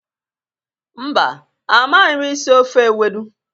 Mba, amaghi m isi ofe ewedu.